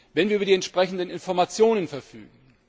wenn wir über die entsprechenden Informationen verfügen.